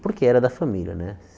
Porque era da família, né?